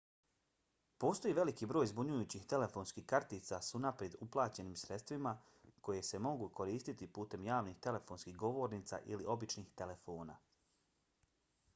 postoji veliki broj zbunjujućih telefonskih kartica s unaprijed uplaćenim sredstvima koje se mogu koristiti putem javnih telefonskih govornica ili običnih telefona